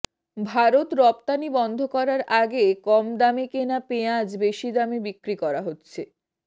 ভারত রপ্তানি বন্ধ করার আগে কম দামে কেনা পেঁয়াজ বেশি দামে বিক্রি করা হচ্ছে